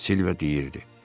Silva deyirdi.